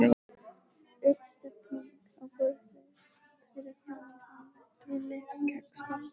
Uppstilling á borði fyrir framan hana, trúlega kexpakkar.